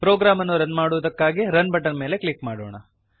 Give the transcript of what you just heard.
program ಅನ್ನು run ಮಾಡುವುದಕ್ಕಾಗಿ run button ಮೇಲೆ ಕ್ಲಿಕ್ ಮಾಡೋಣ